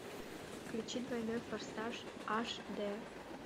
включи двойной форсаж аш дэ